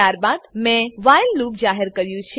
ત્યારબાદ મેં while loop જાહેર કર્યું છે